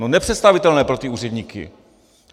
No nepředstavitelné pro ty úředníky.